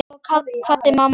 Svo kvaddi mamma líka.